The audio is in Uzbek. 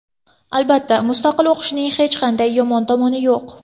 Albatta, mustaqil o‘qishning hech qanday yomon tomoni yo‘q.